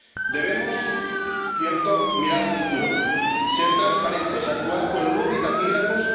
Debemos, cierto, mirar al futuro, ser transparentes, actuar con luz y taquígrafos.